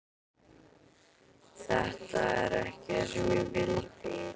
Þetta er ekki það sem ég vildi.